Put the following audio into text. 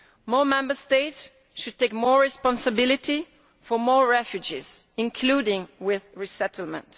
More Member States should take more responsibility for more refugees, including with resettlement.